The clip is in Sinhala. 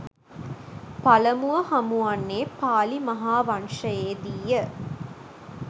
පළමුව හමුවන්නේ පාලි මහා වංශයේ දී ය.